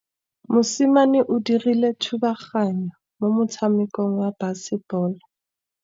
Mosimane o dirile thubaganyô mo motshamekong wa basebôlô.